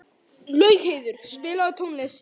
Laugheiður, spilaðu tónlist.